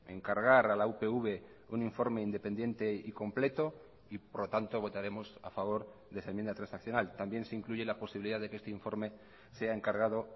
encargar a la upv un informe independiente y completo y por lo tanto votaremos a favor de esa enmienda transaccional también se incluye la posibilidad de que este informe sea encargado